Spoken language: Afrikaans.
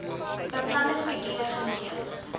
beplande skedule geneem